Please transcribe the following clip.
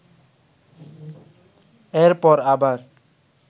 এরপর আবার